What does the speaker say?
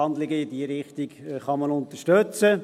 Handlungen in diese Richtung kann man unterstützen.